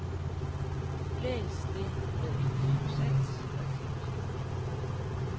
Læs det med et kilo salt og et glimt i øjet.